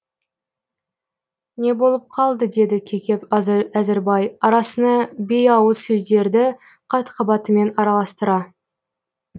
не болып қалды деді кекеп әзірбай арасына бейауыз сөздерді қат қабатымен араластыра